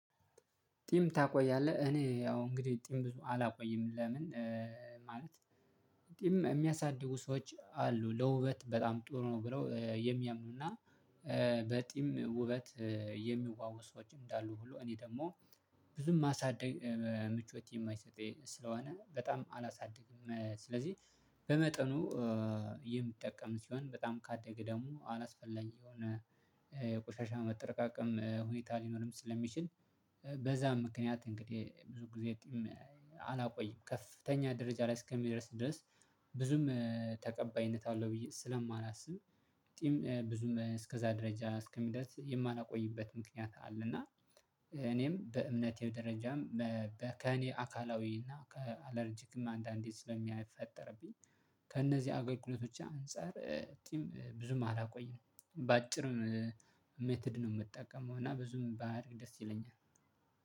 ጢሚ ታቆያለህ እኔ ያው እንግዲህ ጢም አላቆይም ለምን? ማለት ጢም የሚያሳድጉ ሰዎች አሉ ለውበት በጣም ጥሩ ነው ብለው የሚያምኑና በጢም ውበት የሚዋቡ ሰዎች እንዳሉ ሁሉ እኔ ደግሞ ብዙም ማሳደግ ምቾት የማይሰጠኝ ስለሆነ በጣም አላሳድግም። ስለዚህ በመጠኑ የምጠቀም ሲሆን በጣም ካደገ ደግሞ አላስፈለጊ የሆነ የቆሻሻ ማጠረቃቀም ሁኔታ ሊኖርም ስለሚችል በዛም ምክንያት እንግዲህ ብዙ ጊዜ ጢም አላቆይም ከፍተኛ ደረጃ ላይ እስከሚደርስ ድረስ ብዙም ተቀባይነት አለው ብዬ ስለማላስብ። ጢም ብዙም እስከዛ ደረጃ እስከሚደርስ የማላቆይበት ምክንያት አለ። እና እኔም በእምነቴም ደረጃም ከእኔ አካላዊ እና ከአለረጂክ አንዳንዴ ስለሚፈጠርብኝ ከእነዚህ አገልግሎቶች አንፃር ጢም ብዙም አላቆይም። በአጭር ሜተድ ነው የምትጠቀመው እና ብዙም ባያድግ ደስ ይለኛል